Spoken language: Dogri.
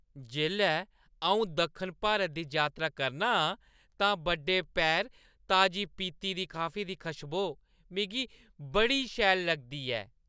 जेल्लै अऊं दक्खन भारत दी यात्रा करना आं तां बड्डे पैह्‌र ताजी पीह्‌ती दी काफी दी कशबोऽ मिगी बड़ी शैल लगदी ऐ।